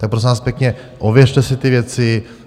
Tak prosím vás pěkně, ověřte si ty věci.